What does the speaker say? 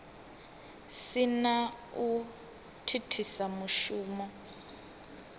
si na u thithisa mushumo